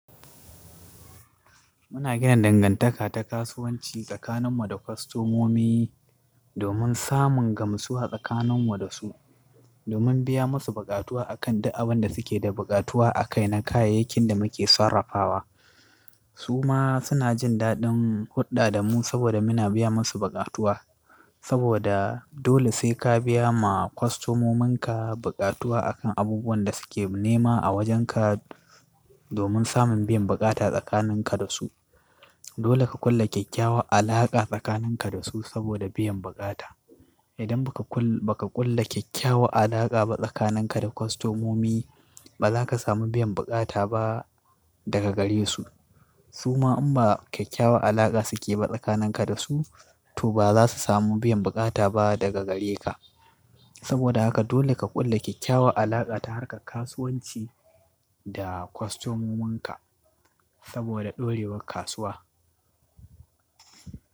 Muna gina dangantaka ta kasuwanci tsakaninmu da kwastomomi domin samun gamsuwa tsakaninmu da su, domin biya musu baƙatuwa akan dukkan abin da suke da baƙatuwa a kai na kayayyakin da muke sarrafawa. Su ma suna jin daɗin huɗɗa da mu saboda muna biya musu baƙatuwa. Saboda dole sai ka biya ma kwastomominka baƙatuwa akan abubuwan da suke nema a wajenka domin samun biyan baƙata tsakaninka da su. Dole ka ƙulla kyakkyawa alaƙa tsakaninka da su saboda biyan baƙata. Idan ba ka ƙulla kyakkyawa alaƙa ba tsakaninka da kwastomomi, ba za ka samu biyan baƙata ba daga gare su. Su ma in ba kyakkyawa alaƙa suke ba tsakanin ka da su, to ba za su samu biyan baƙata ba daga gare ka. Saboda haka dole ka ƙulla kyakkyawa alaƙa ta harka kasuwanci da kwastomominka saboda ɗorewar kasuwa.